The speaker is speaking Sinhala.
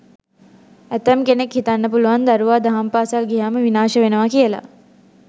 ඇතැම් කෙනෙක් හිතන්න පුළුවන් දරුවා දහම් පාසල් ගියහම විනාශ වෙනවා කියලා.